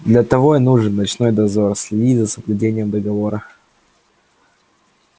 для того и нужен ночной дозор следить за соблюдением договора